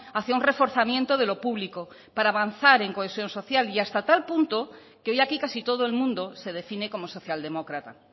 hacia un reforzamiento de lo público para avanzar en cohesión social y hasta tal punto que hoy aquí casi todo el mundo se define como socialdemócrata